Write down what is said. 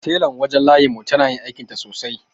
Telan wajen layin mu tana yin aikinta sosai.